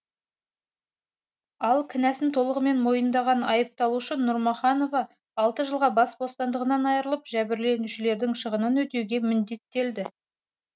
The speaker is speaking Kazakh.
ал кінәсін толығымен мойнындаған айыпталушы нұрмұханова алты жылға бас бостандығынан айырылып жәбірленушілердің шығынын өтеуге міндеттелді